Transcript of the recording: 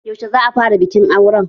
Yaushe za'a fara bikin auren?